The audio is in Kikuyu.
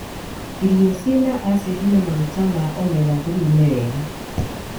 Irio cina acindi na maguta ma omega-3 nĩ wega.